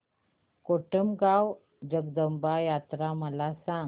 कोटमगाव जगदंबा यात्रा मला सांग